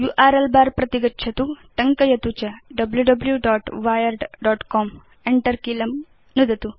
URL बर प्रति गच्छतु टङ्कयतु च wwwwiredcom enter कीलं नुदतु